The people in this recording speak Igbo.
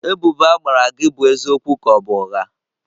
Ebubo a gbara gị bụ eziokwu ka ọ bụ ụgha?